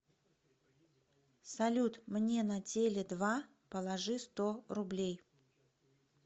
салют мне на теле два положи сто рублей